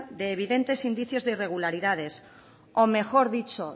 de evidentes indicios de irregularidades o mejor dicho